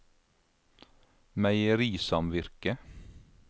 meierisamvirket